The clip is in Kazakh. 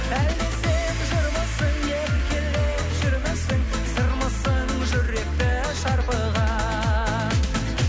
әлде сен жырмысың еркелеп жүрмісің сырмысың жүректі шарпыған